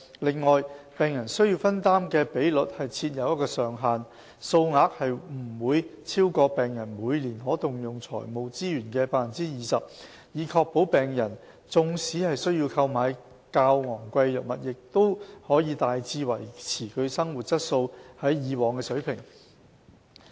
此外，病人需要分擔的比率設有上限，數額不會超過病人每年可動用財務資源的 20%， 以確保病人縱使需要購買較昂貴的藥物，亦可大致維持其生活質素於以往的水平。